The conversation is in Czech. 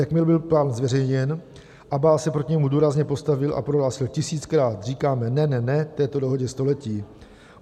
Jakmile byl plán zveřejněn, Abbás se proti němu důrazně postavil a prohlásil: Tisíckrát říkáme ne, ne, ne této dohodě století.